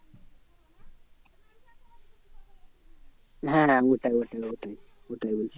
হ্যাঁ ওটাই ওটাই ওটাই ওটাই বলছি।